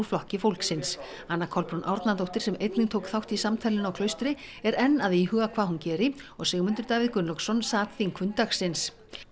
Flokki fólksins anna Kolbrún Árnadóttir sem einnig tók þátt í samtalinu á Klaustri er enn að íhuga hvað hún geri og Sigmundur Davíð Gunnlaugsson sat þingfund dagsins